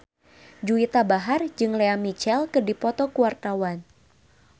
Juwita Bahar jeung Lea Michele keur dipoto ku wartawan